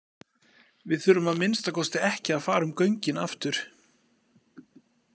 Við þurfum að minnsta kosti ekki að fara um göngin aftur.